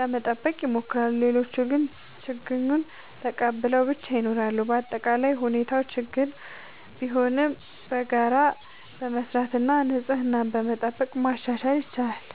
ለመጠበቅ ይሞክራሉ። ሌሎች ግን ችግኙን ተቀብለው ብቻ ይኖራሉ። በአጠቃላይ ሁኔታው ችግኝ ቢሆንም በጋራ በመስራት እና ንጽህናን በመጠበቅ ማሻሻል ይቻላል።